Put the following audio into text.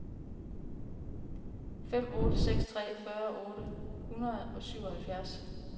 fem otte seks tre fyrre otte hundrede og syvoghalvfjerds